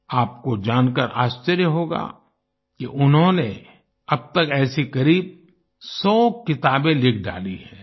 आपको जानकर आश्चर्य होगा कि उन्होंने अब तक ऐसी करीब 100 किताबें लिख डाली हैं